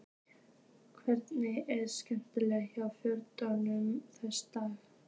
Hvernig er stemningin hjá Fjölnismönnum þessa dagana?